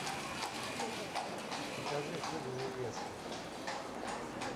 покажи фильм невеста